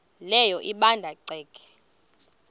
leyo ebanda ceke